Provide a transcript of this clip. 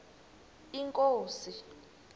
inkosi